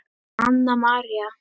Anna María